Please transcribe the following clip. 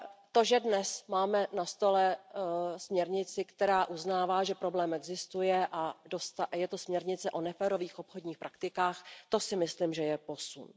To, že dnes máme na stole směrnici, která uznává, že problém existuje, a je to směrnice o neférových obchodních praktikách, to si myslím, že je posun.